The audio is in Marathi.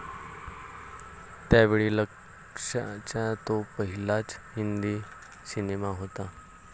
त्यावेळी लक्ष्याचा तो पहिलाच हिंदी सिनेमा होता.